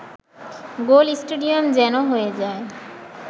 গোল stadium যেন হয়ে যায়